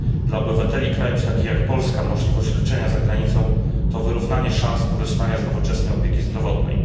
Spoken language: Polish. Dla obywateli krajów takich jak Polska możliwość leczenia za granicą to wyrównanie szans korzystania z nowoczesnej opieki zdrowotnej.